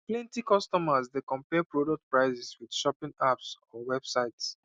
plenty consumers dey compare product prices with shopping apps or websites